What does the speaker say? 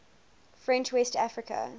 french west africa